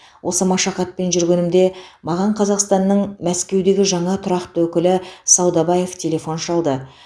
осы машақатпен жүргенімде маған қазақстанның мәскеудегі жаңа тұрақты өкілі саудабаев телефон шалды